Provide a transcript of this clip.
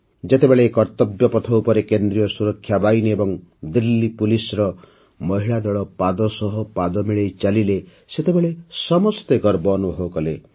ଯେତେବେଳେ କର୍ତ୍ତବ୍ୟ ପଥ ଉପରେ କେନ୍ଦ୍ରୀୟ ସୁରକ୍ଷା ବାହିନୀ ଏବଂ ଦିଲ୍ଲୀ ପୋଲିସ୍ର ମହିଳା ଦଳ ପାଦ ସହ ପାଦ ମିଳାଇ ଚାଲିଲେ ସେତେବେଳେ ସମସ୍ତେ ଗର୍ବ ଅନୁଭବ କଲେ